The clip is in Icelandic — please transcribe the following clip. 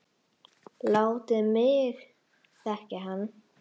Látið mig þekkja hann